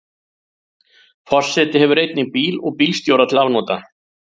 Forseti hefur einnig bíl og bílstjóra til afnota.